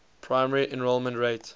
primary enrollment rate